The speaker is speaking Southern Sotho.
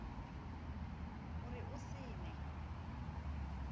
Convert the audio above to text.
ho re o se ne